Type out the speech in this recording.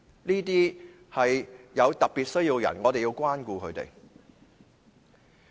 這些是有特別需要的人士，我們要關顧他們。